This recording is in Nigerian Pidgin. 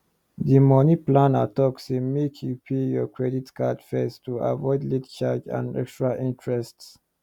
di money planner talk say make you pay your credit card first to avoid late charge and extra interest